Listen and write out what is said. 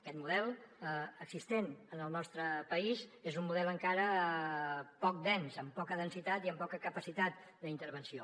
aquest model existent en el nostre país és un model encara poc dens amb poca densitat i amb poca capacitat d’intervenció